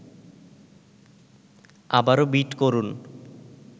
আবারও বিট করুন